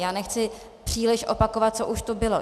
Já nechci příliš opakovat, co už tu bylo.